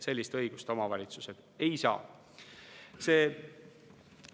Sel juhul tuleb loomulikult kaasata politsei.